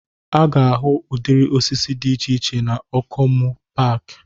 Ị ga-ahụ udịri osisi dị iche iche na Okomu paaki